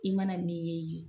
I mana min ye ye